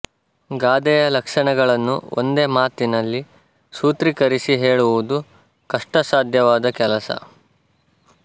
ಗಾದೆಯ ಲಕ್ಷಣಗಳನ್ನು ಒಂದೇ ಮಾತಿನಲ್ಲಿ ಸೂತ್ರೀಕರಿಸಿ ಹೇಳುವುದು ಕಷ್ಟಸಾಧ್ಯವಾದ ಕೆಲಸ